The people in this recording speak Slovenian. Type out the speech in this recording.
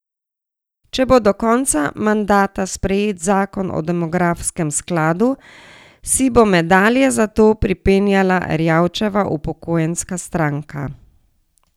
Če bo do konca mandata sprejet zakon o demografskem skladu, si bo medalje za to pripenjala Erjavčeva upokojenska stranka.